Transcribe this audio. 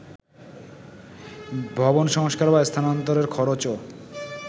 ভবন সংস্কার বা স্থানান্তরের খরচও